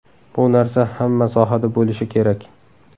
Bu narsa hamma sohada bo‘lishi kerak.